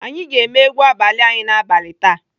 Anyị ga-eme egwu abalị anyị n'abalị taa.